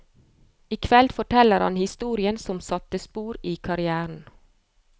I kveld forteller han historien som satte spor i karrièren.